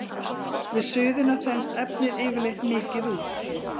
Við suðuna þenst efnið yfirleitt mikið út.